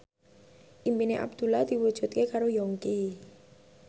impine Abdullah diwujudke karo Yongki